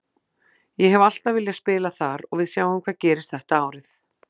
Ég hef alltaf viljað spila þar og við sjáum hvað gerist þetta árið.